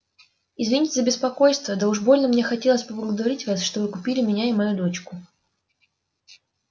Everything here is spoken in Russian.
извините за беспокойство да уж больно мне хотелось поблагодарить вас что вы купили меня и мою дочку